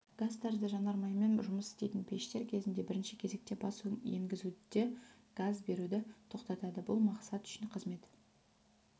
газ тәрізді жанармаймен жұмыс істейтін пештер кезінде бірінші кезекте бас енгізуде газ беруді тоқтатады бұл мақсат үшін қызмет